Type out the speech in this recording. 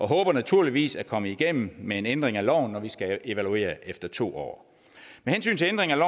håber naturligvis at komme igennem med en ændring af loven når vi skal evaluere den efter to år med hensyn til ændringen af